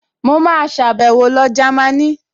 Mo máa sàbẹ̀wo lọ Jámínì